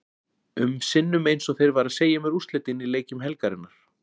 um sinnum eins og þeir væru að segja mér úrslitin í leikjum helgarinnar.